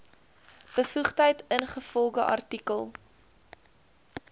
bevoegdheid ingevolge artikel